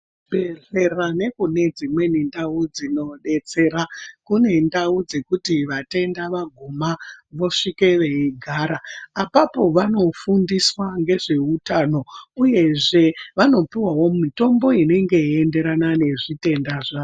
Zvibhedhlera nekune dzimweni ndau dzinodetsera kune ndau dzekuti vatenda vaguma vosvika veigara apapo vanofundiswa ngezveutano uyezve vanopuwawo mitombo inenge yeienderana nezvitenda zvavo.